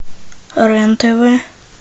рен тв